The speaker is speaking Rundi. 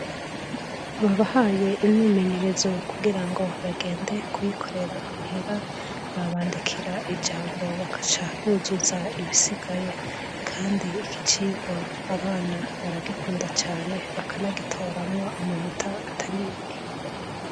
Babahaye imyimenyerezo kugira ngo bagende kuyikorera muhira babandikira ijambo bakaca buzuza ibisigaye kandi ikicirwa abana baragikunda cane bakanagitoramwo amanota atari make.